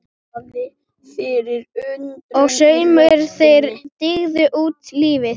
Og saumarnir- þeir dygðu út lífið.